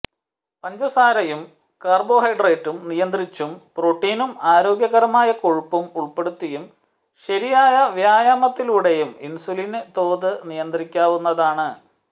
പഞ്ചസാരയും കാര്ബോഹൈഡ്രേറ്റും നിയന്ത്രിച്ചും പ്രോട്ടീനും ആരോഗ്യകരമായ കൊഴുപ്പും ഉള്പ്പെടുത്തിയും ശരിയായ വ്യായാമത്തിലൂടെയും ഇന്സുലിന് തോത് നിയന്ത്രിക്കാവുന്നതാണ്